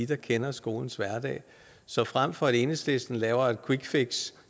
der kender skolens hverdag så frem for at enhedslisten laver et quickfix